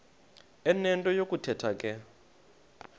enento yokuthetha ke